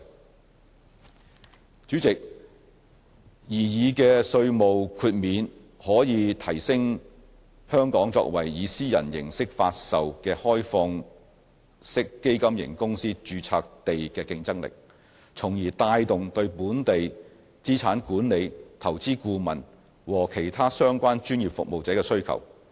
代理主席，擬議的稅務豁免可以提升香港作為以私人形式發售的開放式基金型公司註冊地的競爭力，從而帶動對本地資產管理、投資顧問和其他相關專業服務者的需求。